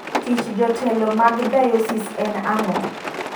Tich jo jotelo mag diosis en ango?